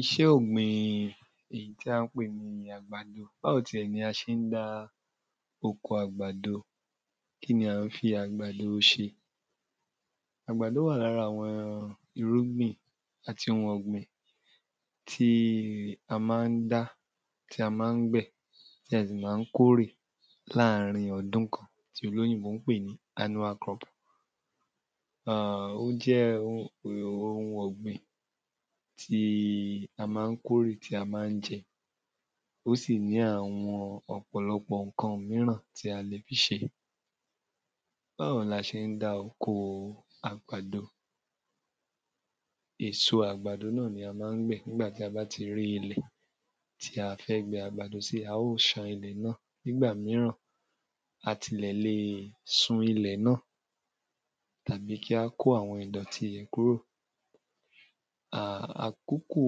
iṣẹ́ ọ̀gbìn èyí tí à ń pè ní àgbàdo, báwo ti ẹ̀ ni a ṣe dá oko àgbàdo, kíni a fi àgbàdo ṣe? àgbàdo wà lára àwọn irúgbìn àti ohun ọ̀gbìn tí a ma ń dá, tí á ma ń gbìn tí a sì ma ń kórè láàrín ọdún kan tí olóyìnbó ń pè nì annual crop ó ma ń jẹ́ ohun ọ̀gbìn tí a ma ń kórè, tí a ma ń jẹ, ó sì ní àwọn ǹkan míràn tí a lè fi ṣe báwo ni a ṣe ń dá oko àgbàdo? èso àgbàdo náà ni a ma ń gbìn tí a bá ti rí ilẹ̀ tí a fẹ́ gbìn àgbàdo sí, a óò ṣán ilẹ̀ náà nígbà míràn a tilẹ̀ lè sun ilẹ̀ náà tàbí kí a kó àwọn ìdọ̀tí bẹ́ẹ̀ kúrò àkókò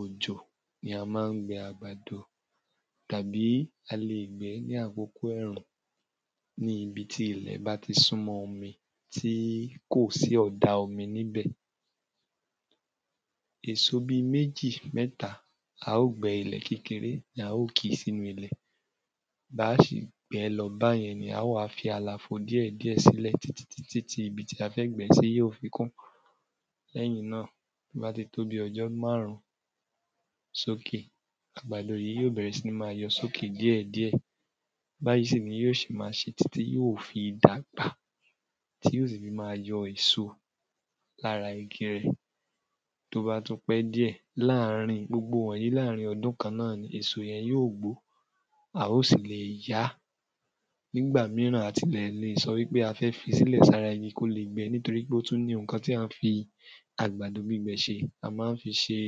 òjò ni a ma ń gbin àgbàdo tàbí a lè gbìn in ní àkókò ẹ̀rùn níbi tí ilẹ̀ bá tí súnmọ́ omi tí kò sí ọ̀da omi nibẹ èso bíi méjì mẹ́ta, a óò gbẹ́ ilẹ̀ kékeré ni a óò kì sínu ilẹ̀, bá a ṣe gbẹ lọ báyẹn nìyen, ó wá fi àlàfo díẹ̀díẹ̀ sílẹ̀ títí di ibi tí a fẹ́ gbìn ín sí yóò fi kún lẹ́yìn náà tó bá ti tóbi ọjọ́ márùn ún sókè, àgbàdo yìí yóò bẹ́rẹ̀ sí ní máa yóò sókè díẹ̀díẹ̀ báyìí sì ni yóò ṣe máa ṣe títí tí yóò fi dàgbà tí yóò sì fi máa yọ èso lára igi rẹ̀ tó bá tún pẹ́ díẹ̀, gbogbo wọ̀nyí láàrín ọdún kan náà ni, èso rẹ̀ yóò gbó, a óò sì lè ya á nígbà míràn a tilẹ̀ lọ wípé a fẹ́ fi sílẹ̀ sára igi kó lè gbé, torípé ó tùn ní ohun tí a fi àgbàdo gbígbẹ ṣe a ma ń fi ṣe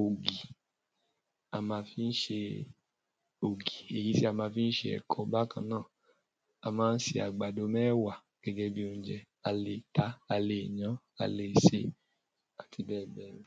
ògì, a máa fi ṣe ògì èyí tí a ma ń fi ṣe ẹ̀kọ bákan náà, a ma ń ṣe àgbàdo mẹ́wà gẹ́gẹ́ bíi oúnjẹ, a lè tàá, a lè yan án, a lè sèé, àti bẹ́ẹ̀ bẹ́ẹ̀ lọ